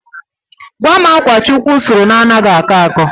Gwam akwa Chukwu sụrụ na-anaghị akọ akọ?